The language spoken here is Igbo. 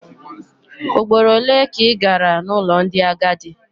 Ugboro ole ka ị gara n'ụlọ ndị agadi?